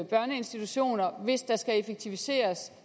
børneinstitutioner hvis der skal effektiviseres